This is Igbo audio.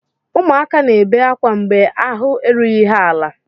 Ụmụaka na-ebe akwa mgbe ahụ erughị ha ala.